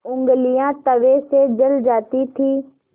ऊँगलियाँ तवे से जल जाती थीं